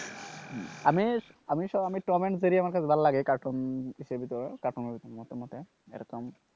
আমি Tom and Jerry আমার কাছে ভালো লাগে কার্টুন কার্টুনের মতে মতে এরকম,